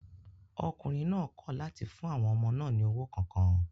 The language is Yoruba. Ọkùnrin náà kọ̀ láti fún àwọn ọmọ náà ní owó kankan